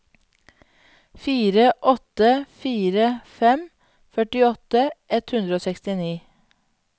fire åtte fire fem førtiåtte ett hundre og sekstini